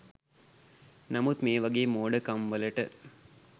නමුත් මේ වගේ මෝඩ කම් වලට